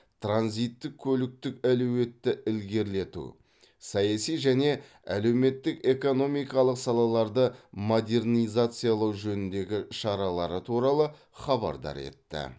транзиттік көліктік әлеуетті ілгерілету саяси және әлеуметтік экономикалық салаларды модернизациялау жөніндегі шаралары туралы хабардар етті